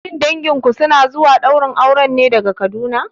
Shin danginku suna zuwa ɗaurin auren ne daga Kaduna?